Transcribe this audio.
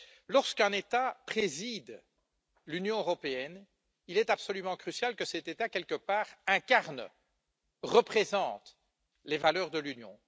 Lorsqu'un État préside l'Union européenne, il est absolument crucial que cet État, quelque part, incarne, représente les valeurs de l'Union.